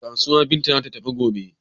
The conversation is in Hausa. Kasuwa Binta za ta tafi gobe.